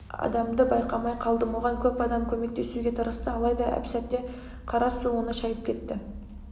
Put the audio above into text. адамды байқап қалдым оған көп адам көмектесуге тырысты алайда әп-сәтте қара су оны шайып кетті